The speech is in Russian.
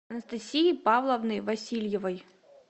анастасии павловны васильевой